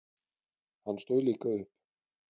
Hann stóð líka upp.